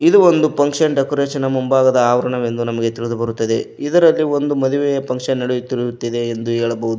ಇದು ಒಂದು function decoration ಮುಂಭಾಗದ ಆವರಣವೆಂದು ನಮಗೆ ತಿಳಿದು ಬರುತ್ತದೆ ಇದರಲ್ಲಿ ಒಂದು ಮದುವೆಯ ಫಂಕ್ಷನ್ ನಡೆಯುತ್ತಿರುತ್ತಿದೆ ಎಂದು ಹೇಳಬಹುದು.